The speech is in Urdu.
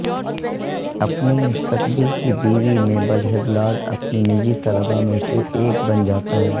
اپنی مستقبل کی بیوی میبل ہبلارڈ اپنے نجی طلباء میں سے ایک بن جاتا ہے